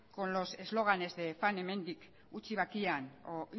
con los eslóganes de fan hemendik utzi bakean o